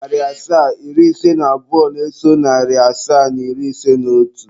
Narị asaa na iri ise na abụọ na-eso narị asaa na iri ise na otu.